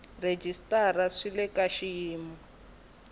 rhejisitara swi le ka xiyimo